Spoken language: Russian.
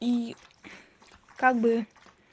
и как бы